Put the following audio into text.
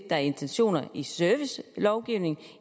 er intentionen i servicelovgivningen